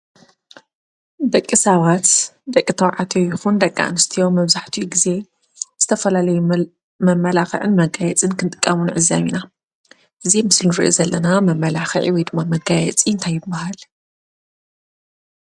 ደቂ ሰባት ደቂ ተባዕትዮ ይኩን ደቂ ኣንስትዮ መብዛሕታኡ ግዘ ዝተፈላለዩ መማላኽዕን መጋየፂን ክጥቀሙ ንዕዘብ ኢና ።እዚ ምስሊ ንሪኦ ዘለና መማላኽዒ ወይ ድማ መጋየፂ እንታይ ይባሃል።